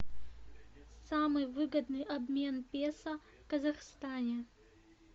самый выгодный обмен песо в казахстане